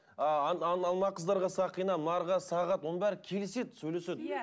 ы ана ана қыздарға сақина мыналарға сағат оның бәрі келіседі сөйлеседі иә